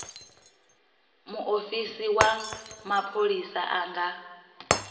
muofisi wa mapholisa a nga